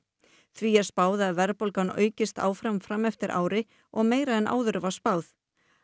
því er spáð að verðbólgan aukist áfram fram eftir ári og meira en áður var spáð